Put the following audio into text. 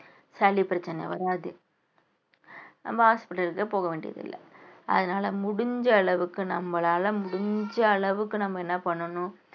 சளி பிரச்சனை வராது நம்ம hospital க்கு போக வேண்டியதில்லை. அதனால முடிஞ்ச அளவுக்கு நம்மளால முடிஞ்ச அளவுக்கு நம்ம என்ன பண்ணணும்